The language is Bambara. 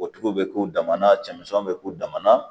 O tigi bɛ k'u dama na cɛmisɛnnin be k'u dama na